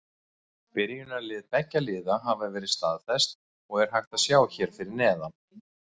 Byrjunarlið beggja liða hafa verið staðfest og er hægt að sjá hér fyrir neðan.